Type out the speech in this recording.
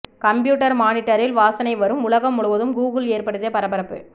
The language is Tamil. கம்ப்யூட்டர் மானிட்டரில் வாசனை வரும் உலகம் முழுவதும் கூகுள் ஏற்படுத்திய பரபரப்பு